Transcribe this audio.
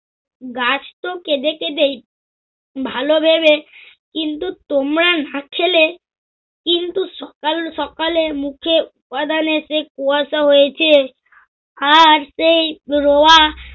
গাছ তো কেদে কেদেই ভালভেবে। কিন্তু, তোমরা না খেলে কিন্তু সকাল সকালে মুখে উপাদানে সে কুয়াশা হয়েছে আর সেই রোয়া